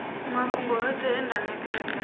mafhungo oṱhe e nda nekedza